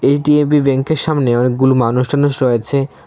HDFB ব্যাঙ্কের সামনে অনেকগুলো মানুষ ঠানুষ রয়েছে।